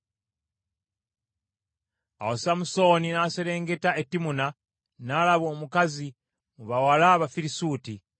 Awo Samusooni n’aserengeta e Timuna n’alaba omukazi mu bawala ab’Abafirisuuti.